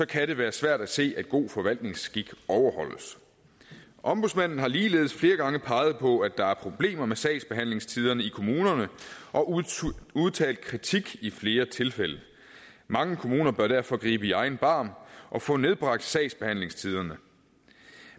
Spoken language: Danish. kan det være svært at se at god forvaltningsskik overholdes ombudsmanden har ligeledes flere gange peget på at der er problemer med sagsbehandlingstiderne i kommunerne og udtalt kritik i flere tilfælde mange kommuner bør derfor gribe i egen barm og få nedbragt sagsbehandlingstiderne